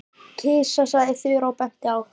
Kisa sagði Þura og benti á eina kanínuna.